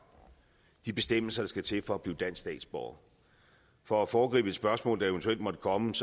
de bestemmelser der skal til for at blive dansk statsborger for at foregribe et spørgsmål der eventuelt måtte komme